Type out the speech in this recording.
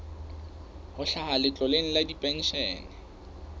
ho hlaha letloleng la dipenshene